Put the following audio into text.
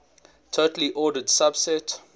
totally ordered subset